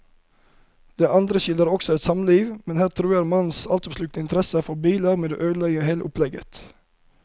Den andre skildrer også et samliv, men her truer mannens altoppslukende interesse for biller med å ødelegge hele opplegget.